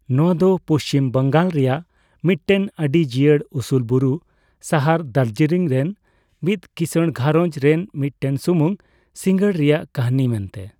ᱱᱚᱣᱟ ᱫᱚ ᱯᱩᱪᱷᱤᱢ ᱵᱟᱝᱜᱟᱞ ᱨᱮᱭᱟᱜ ᱢᱤᱫᱴᱮᱱ ᱟᱹᱰᱤ ᱡᱤᱭᱟᱹᱲ ᱩᱥᱩᱞ ᱵᱩᱨᱩ ᱥᱟᱦᱟᱨ ᱫᱟᱨᱡᱤᱞᱤᱝ ᱨᱮᱱ ᱢᱤᱫ ᱠᱤᱥᱟᱹᱬ ᱜᱷᱟᱨᱚᱸᱡᱽ ᱨᱮᱱ ᱢᱤᱫᱴᱮᱱ ᱥᱩᱢᱩᱝ ᱥᱤᱜᱟᱸᱲ ᱨᱮᱭᱟᱜ ᱠᱟᱹᱦᱱᱤ ᱢᱮᱱᱛᱮ ᱾